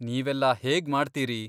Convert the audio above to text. ನೀವೆಲ್ಲ ಹೇಗ್ಮಾಡ್ತೀರಿ?